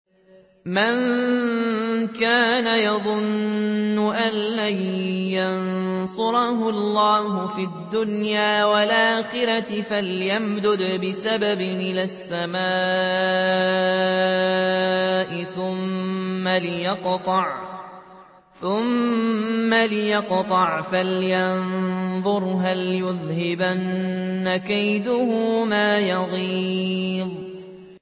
مَن كَانَ يَظُنُّ أَن لَّن يَنصُرَهُ اللَّهُ فِي الدُّنْيَا وَالْآخِرَةِ فَلْيَمْدُدْ بِسَبَبٍ إِلَى السَّمَاءِ ثُمَّ لْيَقْطَعْ فَلْيَنظُرْ هَلْ يُذْهِبَنَّ كَيْدُهُ مَا يَغِيظُ